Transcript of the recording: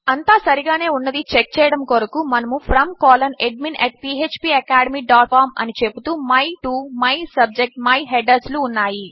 అంతా సరిగానే ఉన్నది చెక్ చేయడము కొరకు మనకు Fromadminphpacademycom అని చెపుతూ my to my subject my headers లు ఉన్నాయి